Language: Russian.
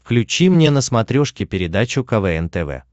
включи мне на смотрешке передачу квн тв